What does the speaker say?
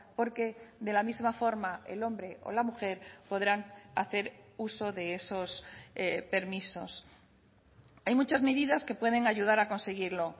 porque de la misma forma el hombre o la mujer podrán hacer uso de esos permisos hay muchas medidas que pueden ayudar a conseguirlo